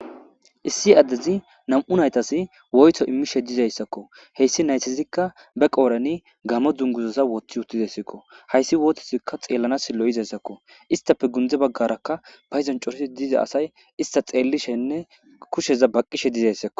issi addezi nam'u naytas woyto immishe dizayssakko heyssi naytizikka be qoorani gamo dunguzaza woththi uttidassakko hayssi wootizikka xeellana sillo izayssakko istape gundze baggarakka payidon cooriti diza asay ista xeellishenne kusheza baqqishe dizayssakko